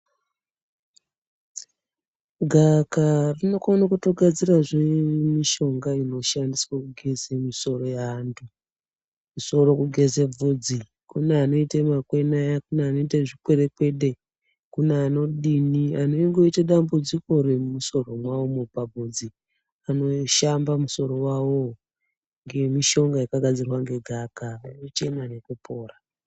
Gavakava rinokone kutogadzirazve mushonga inoshandiswa kugeze misoro yantu ,musoro kugeze bvudzi kune anoite makwene aya ,kune anoite zvikwerekwede kune anodini anondoite dambudziko remusoro mwawomwo pabvudzi anoshamba musorowawowo ngemishonga yakagadzirwa ngegavakava nekuchena nekupora.